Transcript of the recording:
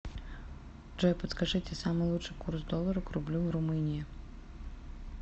джой подскажите самый лучший курс доллара к рублю в румынии